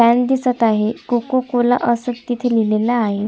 Hall दिसत आहे Coca Cola अस तिथे लिहलेल आहे.